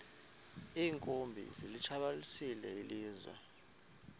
iinkumbi zilitshabalalisile ilizwe